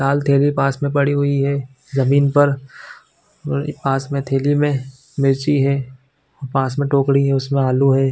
--लाल थैली पास मैं पड़ी हुई है जमीन पर उ पास में थैली में मिर्ची है पास में टोकरी है उसमे आलू है।